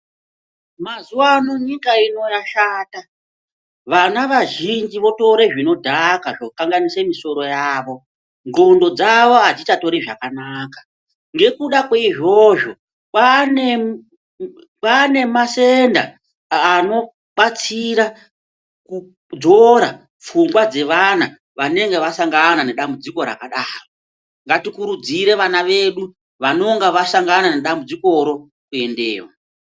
Mazuwa ano nyika yashata vana vazhinji votore zvinodhaka zvokanganise misoro yavo nxlondo dzavo adzichatori zvakanaka ngekuda kweizvozvo kwaane masenda anobatsira kudzora pfungwa dzeana vanonga vasangana nedambudziko rakadaro, ngatikurudzire vana vedu vanonga vasangana nedambudzikoro kuendeyo.